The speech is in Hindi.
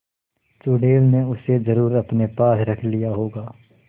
चुड़ैल ने उसे जरुर अपने पास रख लिया होगा